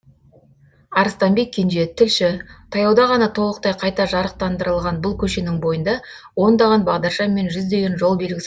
арыстанбек кенже тілші таяуда ғана толықтай қайта жарықтандырылған бұл көшенің бойында ондаған бағдаршам мен жүздеген жол белгісі